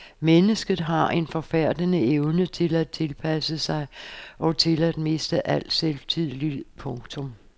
Mennesket har en forfærdende evne til at tilpasse sig og til at miste al selvtillid. punktum